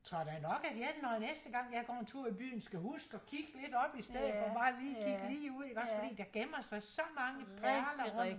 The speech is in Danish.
Tror da nok at jeg når næste gang jeg går en tur i byen skal huske at kigge lidt op stedet for bare lige at kigge lige ud iggås fordi der gemmer sig så mange perler rundt omkring